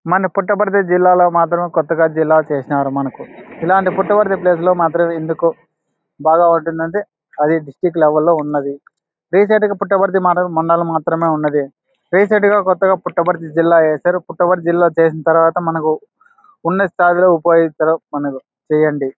మన పుట్టపర్తి జిల్లాలో మాత్రం కొత్తగా జిల్లా చేసినారు మనకు ఇలాంటి పుట్టపర్తి ప్లేస్ లో మాత్రమే ఎందుకో బాగా అది డిస్ట్రిక్ లెవెల్ లో ఉన్నది. రీసెంట్గా పుట్టపర్తి మాత్రా- మండలం మాత్రమే ఉన్నది. రీసెంట్ గ కొత్తగా పుట్టపర్తి జిల్లా ఎసరు పుట్టపర్తి జిల్లా చేసిన తరువాత మనకు ఉన్న స్థాయిలో ఉపాధి మనకు చేయండి.